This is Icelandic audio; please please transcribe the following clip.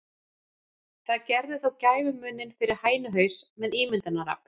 Það gerði þó gæfumuninn fyrir hænuhaus með ímyndunarafl.